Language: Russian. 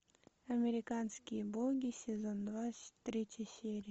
американские боги сезон два третья серия